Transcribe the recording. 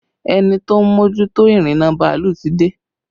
Ẹni tó ń mójútó ìrìnnà bàálù ti dé